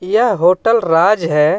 यह होटल राज हे.